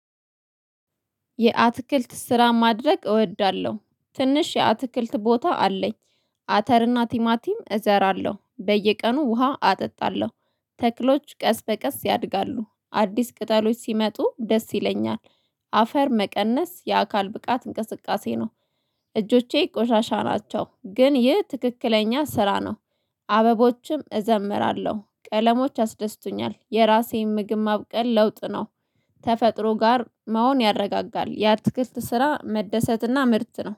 የአትክልት ስራ ማድረግ እወዳለሁ ትንሽ የአትክልት ቦታ አለኝ። አተርና ቲማቲም እዘራለሁ በየቀኑ ውሃ አጠጣለሁ። ተክሎች ቀስ በቀስ ያድጋሉ አዲስ ቅጠሎች ሲመጡ ደስ ይለኛል። አፈር መቀነስ የአካል ብቃት እንቅስቃሴ ነው። እጆቼ ቆሻሻ ናቸው ግን ይህ ትክክለኛ ስራ ነው። አበቦችም እዘምራለሁ ቀለሞችም ያአስደስቱኛል የራሴን ምግብ ማብቀል ለውጥ ነው። ተፈጥሮ ጋር መሆን ያረጋጋል። የአትክልት ስራ መደሰትና ምርት ነው